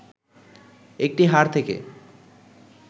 একটি হাড় থেকে